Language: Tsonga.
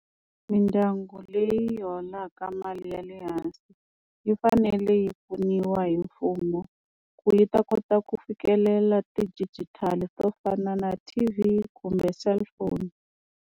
Midyangu leyi holaka mali ya le hansi yi fanele yi pfuniwa hi mfumo ku yi ta kota ku fikelela ti-digital to fana na T_V kumbe cellphone.